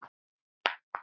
Þar ræður tæknin mestu.